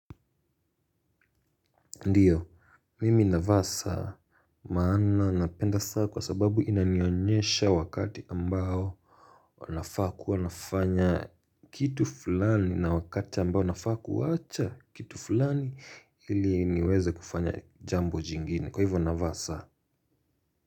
Ndiyo, mimi navaa saa maana napenda saa kwa sababu inanionyesha wakati ambao nafaa kuwa nafanya kitu fulani na wakati ambao wanafaa kuwacha kitu fulani ili niweze kufanya jambo jingine kwa hivyo navaa saa.